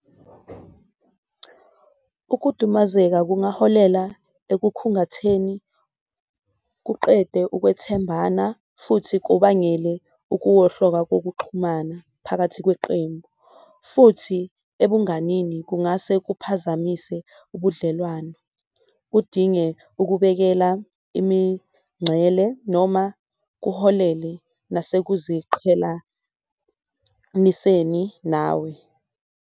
Ukudumazeka kungaholela ekukhungathekeni, kuqede ukwethembana, futhi kubangele ukuwohloka kokuxhumana phakathi kweqembu. Futhi ebanganini kungase kuphazamise ubudlelwano kudinge ukubekela imincele noma kuholele nasekuziqhelaniseni nawe.